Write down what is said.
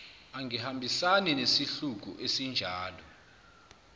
angihambisani nesihluku esinjalo